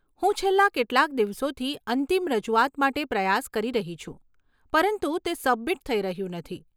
હું છેલ્લા કેટલાક દિવસોથી અંતિમ રજૂઆત માટે પ્રયાસ કરી રહી છું, પરંતુ તે સબમિટ થઈ રહ્યું નથી.